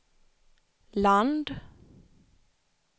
land